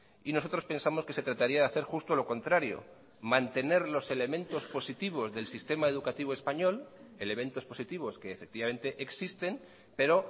y nosotros pensamos que se trataría de hacer justo lo contrario mantener los elementos positivos del sistema educativo español elementos positivos que efectivamente existen pero